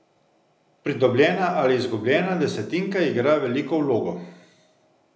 Pridobljena ali izgubljena desetinka igra veliko vlogo.